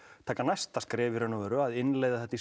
taka næsta skref í raun og veru að innleiða þetta í